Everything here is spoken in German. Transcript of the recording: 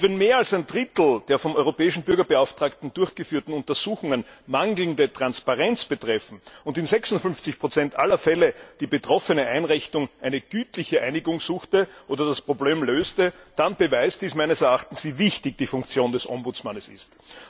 Und wenn mehr als ein Drittel der vom Europäischen Bürgerbeauftragten durchgeführten Untersuchungen mangelnde Transparenz betreffen und in 56 aller Fälle die betroffene Einrichtung eine gütliche Einigung suchte oder das Problem löste, dann beweist das meines Erachtens, wie wichtig die Funktion des Bürgerbeauftragten ist.